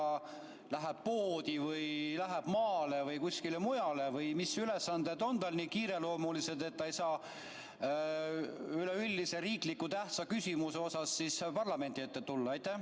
Kas ta läheb poodi või läheb maale või kuskile mujale või mis ülesanded tal on nii kiireloomulised, et ta ei saa üleüldise riiklikult tähtsa küsimuse osas parlamendi ette tulla?